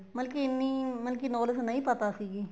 ਮਤਲਬ ਕੀ ਇੰਨੀ knowledge ਨਹੀਂ ਪਤਾ ਸੀਗੀ